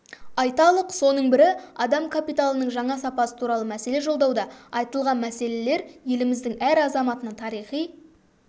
айталық соның бірі адам капиталының жаңа сапасы туралы мәселе жолдауда айтылған мәселелер еліміздің әр азаматына тарихи